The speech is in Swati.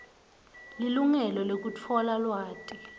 lilungelo lekutfola lwati